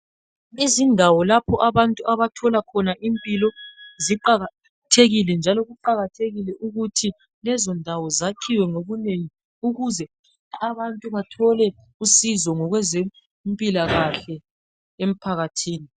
Izindawo lapho abantu abathola khona impilo ziqakathekile njalo kuqakathekile ukuthi lezo ndawo zakhiwe ngobunengi ukuze abantu bathole usizo ngokwezempilakahle emphakathini.